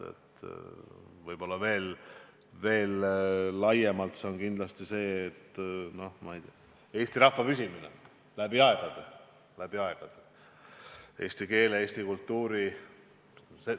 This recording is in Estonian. Võib-olla veel laiemalt on eesmärk kindlasti eesti rahva püsimine läbi aegade, eesti keele, eesti kultuuri püsimine.